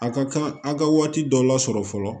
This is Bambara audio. A ka kan a ka waati dɔ lasɔrɔ fɔlɔ